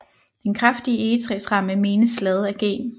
Den kraftige egetræsramme menes lavet af G